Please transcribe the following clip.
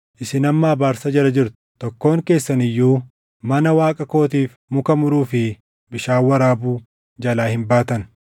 Isin amma abaarsa jala jirtu; tokkoon keessan iyyuu mana Waaqa kootiif muka muruu fi bishaan waraabuu jalaa hin baatan.”